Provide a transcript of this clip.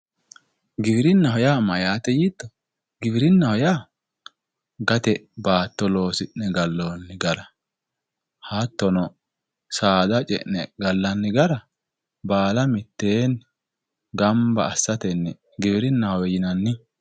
giwirinnaho yaa mayyaate yiitto giwirinnaho yaa gate baatto loosi'ne galloonni gara hattono saada ce'ne gallanni gara baala mittee gamba assatenni giwirinnahowe yinanni.